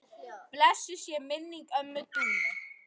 Blessuð sé minning ömmu Dúnu.